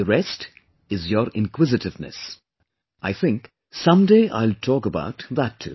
The rest is your inquisitiveness... I think, someday I'll talk about that too